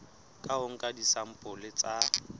ka ho nka disampole tsa